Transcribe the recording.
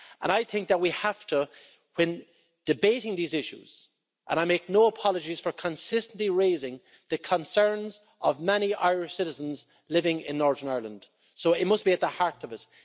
I think that we have to when debating these issues and I make no apologies for consistently raising the concerns of many Irish citizens living in Northern Ireland, so it must be at the heart of it.